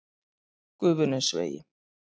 Gufunesvegi